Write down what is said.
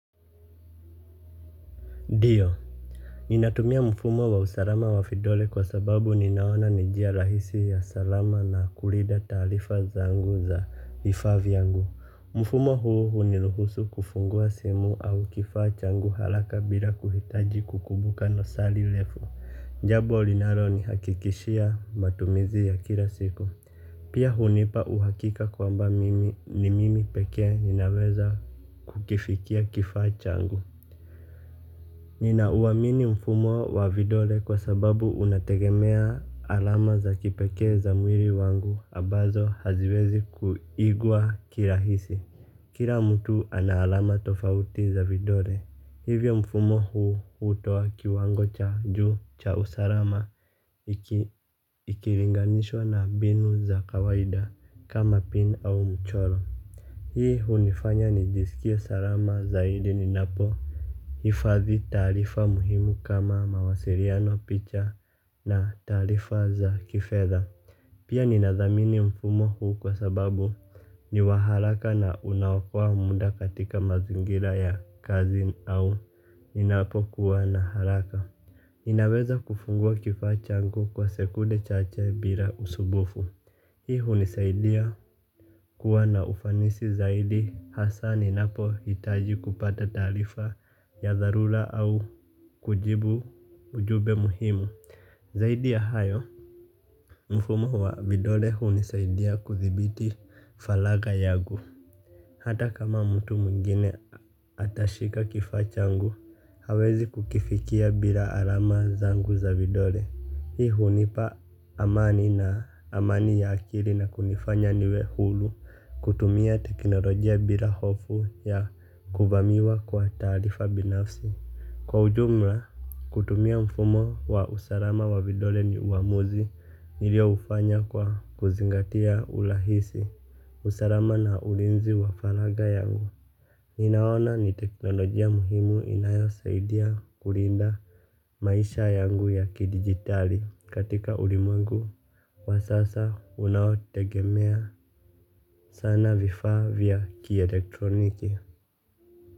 Ndio, ninatumia mfumo wa usalama wa vidole kwa sababu ninaona ni njia rahisi ya salama na kulida taalifa zangu za vifaa vyangu. Mfumo huo huniruhusu kufungua simu au kifaa changu haraka bila kuhitaji kukumbuka nenosili lefu. Jabo linaronihakikishia matumizi ya kila siku. Pia hunipa uhakika kwamba mimi ni mimi pekee ninaweza kukifikia kifaa changu. Ninauamini mfumo wa vidole kwa sababu unategemea alama za kipekee za mwiri wangu ambazo haziwezi kuigwa kirahisi. Kira mtu ana alama tofauti za vidole. Hivyo mfumo huu hutoa kiwango cha juu cha usarama ikilinganishwa na mbinu za kawaida kama pin au mcholo. Hii hunifanya nijisikie sarama zaidi ninapo hifadhi taarifa muhimu kama mawasiriano picha na taarifa za kifedha. Pia ninathamini mfumo huu kwa sababu ni wa haraka na unaokoa muda katika mazingira ya kazi au ninapokuwa na haraka ninaweza kufungua kifaa changu kwa sekunde chache bila usubufu. Hii hunisaidia kuwa na ufanisi zaidi hasa ninapohitaji kupata taarifa ya dharula au kujibu ujube muhimu. Zaidi ya hayo, mfumo wa vidole hunisaidia kuthibiti falagha yagu. Hata kama mtu mwengine atashika kifaa changu, hawezi kukifikia bila alama zangu za vidole. Hii hunipa amani na amani ya akili na kunifanya niwe hulu kutumia teknolojia bila hofu ya kuvamiwa kwa taarifa binafsi. Kwa ujumla, kutumia mfumo wa usalama wa vidole ni uamuzi nilioufanya kwa kuzingatia ulahisi, usalama na ulinzi wa falagha yangu. Ninaona ni teknolojia muhimu inayosaidia kulinda maisha yangu ya kidigitali katika ulimwengu wa sasa unaotegemea sana vifaa vya kielektroniki.